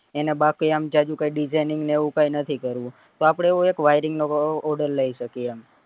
એને બાકી આમ જાજુ કઈ designing ને એવું કઈ નથી કરવું તો આપડે એવું એક wiring નો એક order લઇ શકીએ એમ